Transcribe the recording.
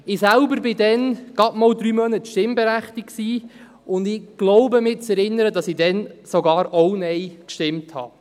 Ich selbst war damals gerade mal drei Monate stimmberechtigt und glaube mich zu erinnern, dass ich damals sogar auch Nein stimmte.